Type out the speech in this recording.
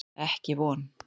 Ekki von.